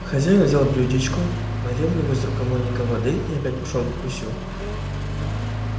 хозяин взял блюдечко налил в него из рукомойника воды и опять пошёл к гусю